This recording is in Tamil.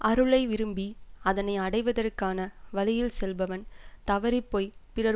அருளை விரும்பி அதனை அடைவதற்கான வழியில் செல்பவன் தவறிப்போய்ப் பிறர்